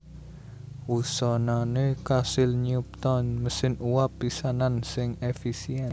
Wusanané kasil nyipta mesin uap pisanan sing èfisièn